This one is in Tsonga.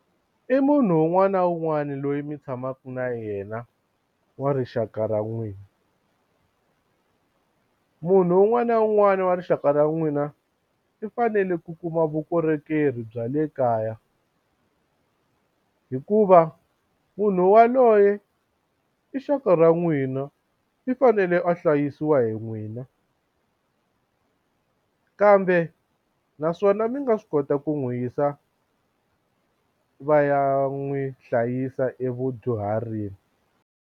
I munhu un'wana na un'wana loyi mi tshamaka na yena wa rixaka ra n'wina munhu un'wana na un'wana wa rixaka ra n'wina i fanele ku kuma vukorhokeri bya le kaya hikuva munhu waloye i xaka ra n'wina i fanele a hlayisiwa hi n'wina kambe naswona mi nga swi kota ku n'wi yisa va ya n'wi hlayisa evudyuharini.